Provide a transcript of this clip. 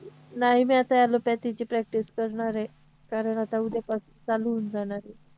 नाही नाही आता allopathy ची practice करणार आहे कारण आता उद्यापासून चालू होऊन जाणार आहे